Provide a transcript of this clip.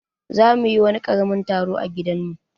Za mu yi wani karamin taro a gidan mu.